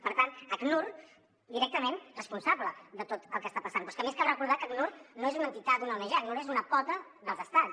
per tant acnur directament responsable de tot el que està passant però és que a més cal recordar que acnur no és una entitat una ong acnur és una pota dels estats